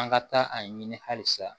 An ka taa a ɲini hali sa